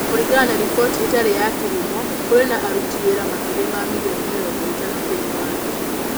Kũringana na riboti ĩtarĩ ya kĩhumo, kũrĩ na aruti wĩra makĩria ma milioni mĩrongo ĩtano thĩinĩ wa thĩ.